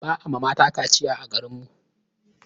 Ba a ma mata kaciya a garin mu.